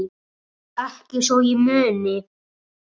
Ekki svo ég muni.